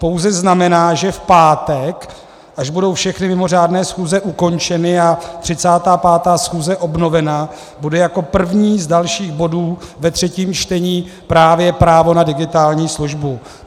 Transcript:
Pouze znamená, že v pátek, až budou všechny mimořádné schůze ukončeny a 35. schůze obnovena, bude jako první z dalších bodů ve třetím čtení právě právo na digitální službu.